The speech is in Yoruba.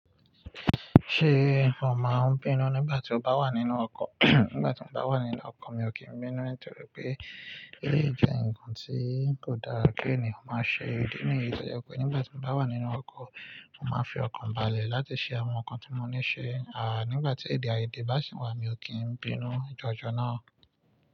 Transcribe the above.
Ṣé mo máa ń bínú nígbà tí ó bá wà nínú ọkọ̀? Nígbà tí mo bá wà nínú ọkọ̀ mi ò kí ń bínú nítorí pé èyí jẹ́ ǹkan tí kò dára ké ènìyàn máa ṣe. Idi níyi to je pé nígbà tí mo bá wà nínú ọkọ̀, mo máa fi ọkàn ba lẹ̀ láti ṣe àwọn nǹkan tí mo ní ṣe. Ah, nigba ti ede aiyede ba si wa, mio kin binu jojo naa.